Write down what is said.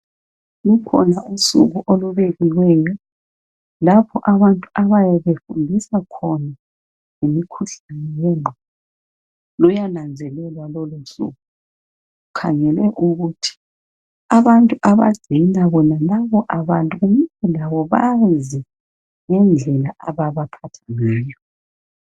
Kukhona usuku olubekiweyo lapho abantu abayabe befundiswa khona ngemikhuhlane yengqondo, luyananzelelwa lolusuku, kukhangelwe ukuthi abantu abagcina bonalabo abantu kumele bazi indlela ababaphatha ngayo.